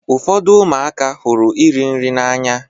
Ụfọdụ ụmụaka hụrụ iri nri n'anya.